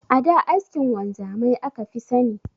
A da askin wanzamai aka fi sani.